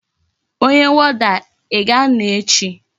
Onye woda,I ga-ano echi?